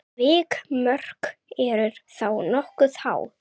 Vikmörk eru þá nokkuð há.